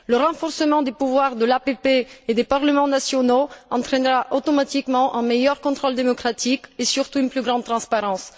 Le renforcement du pouvoir de l'APP et des parlements nationaux entraînera automatiquement un meilleur contrôle démocratique et surtout une plus grande transparence.